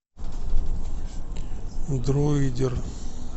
дроидер